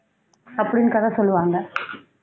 அப்படின்னு கதை சொல்லுவாங்க